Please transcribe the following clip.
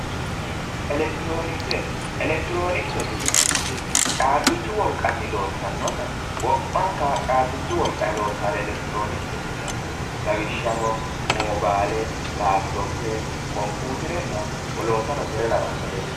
elekitiroonikise elektiroonikesete yineemmoti caabbichu wolqanni loossannota wo'manka caabbichu wolqanni loosannore elektiroonikisete yineemmo lawishshaho mobayiile laapitoppe kompiiterenna woloottano kyri lawannoreeti